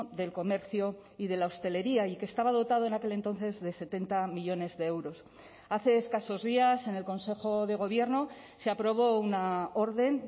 del comercio y de la hostelería y que estaba dotado en aquel entonces de setenta millónes de euros hace escasos días en el consejo de gobierno se aprobó una orden